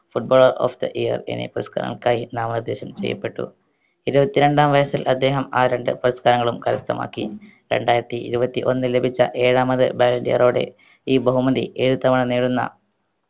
footballer of the year എന്നീ പുരസ്‌കാരങ്ങൾക്കായി നാമനിർദേശം ചെയ്യപ്പെട്ടു ഇരുപത്തി രണ്ടാം വയസ്സിൽ അദ്ദേഹം ആ രണ്ട് പുരസ്കരങ്ങളും കരസ്ഥമാക്കി രണ്ടായിരത്തി ഇരുപത്തി ഒന്നിൽ ലഭിച്ച ഏഴാമത് ballon d'or ഓടെ ഈ ബഹുമതി ഏഴ് തവണ നേടുന്ന